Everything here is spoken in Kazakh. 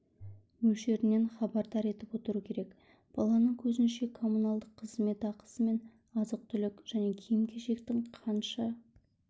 мөлшерінен хабардар етіп отыру керек баланың көзінше коммуналдық қызмет ақысы мен азық-түлік және киім-кешектің қанша